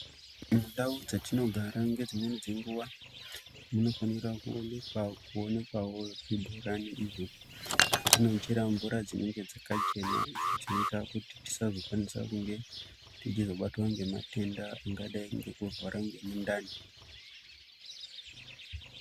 Mundau dzatinogara ngedzimweni nguwa, munofanira kuonekwawo zvibhorani izvo zvetinochera mvura dzinenge dzakachena, dzinoita kuti tisazokwanisa kuzobatwa ngematenda angadai ngekurwara ngemundani.